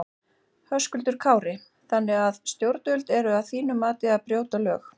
Höskuldur Kári: Þannig að að stjórnvöld eru að þínu mati að að brjóta lög?